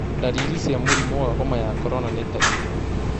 Ndariri cīa mũrimũ wa homa ya corona nĩ ta irĩku?